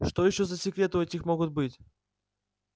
что ещё за секреты у этих могут быть